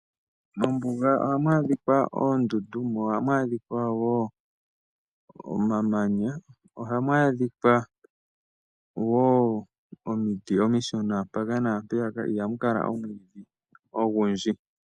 Mombuga ohamu adhikwa oondundu mo ohamu adhikwa wo omamanya, ohamu adhikwa wo omiti omishona mpaka naampeyaka ihamu kala omwiidhi ogundji